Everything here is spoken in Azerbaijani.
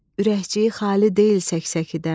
Ürəkciyi xali deyil sək-səkidən.